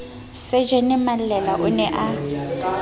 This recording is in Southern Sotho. sajene mallela o ne a